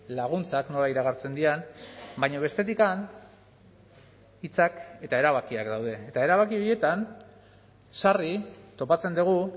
laguntzak nola iragartzen diren baina bestetik hitzak eta erabakiak daude eta erabaki horietan sarri topatzen dugu